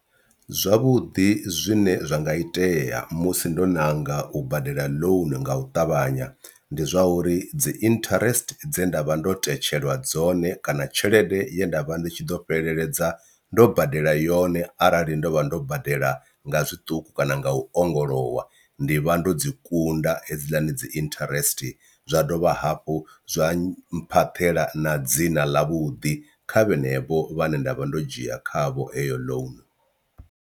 Zwavhuḓi zwine zwa nga itea musi ndo ṋanga u badela loan nga u ṱavhanya ndi zwa uri dzi interest dze nda vha ndo tetshelwa dzone kana tshelede ye nda vha ndi tshi ḓo fheleledza ndo badela yone arali ndo vha ndo badela nga zwiṱuku kana nga u ongolowa ndi vha ndo dzi kunda hedziḽani dzi interest, zwa dovha hafhu zwa mphaṱela na dzina ḽa vhuḓi kha vhanevho vhane nda vha ndo dzhia khavho heyo ḽounu.